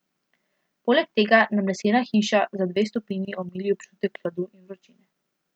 Poleg tega nam lesena hiša za dve stopinji omili občutek hladu in vročine.